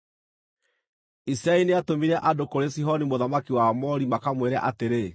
Isiraeli nĩatũmire andũ kũrĩ Sihoni mũthamaki wa Aamori makamwĩre atĩrĩ: